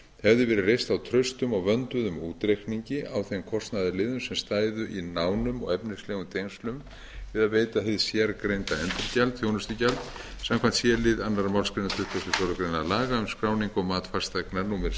hefði verið reist á traustum og vönduðum útreikningi á þeim kostnaðarliðum sem stæðu í nánum og efnislegum tengslum við að veita hið sérgreinda endurgjald þjónustugjald samkvæmt c lið önnur málsgrein tuttugustu og fjórðu grein laga um skráningu og mat fasteigna númer